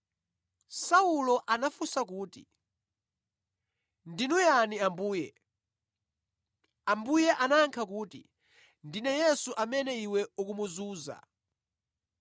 Saulo anafunsa kuti, “Ndinu yani Ambuye?” Ambuye anayankha kuti, “Ndine Yesu amene iwe ukumuzunza.”